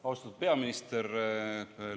Austatud peaminister!